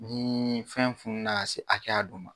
Ni fɛn fununa ka se hakɛya dɔ ma